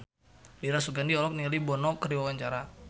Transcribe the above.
Dira Sugandi olohok ningali Bono keur diwawancara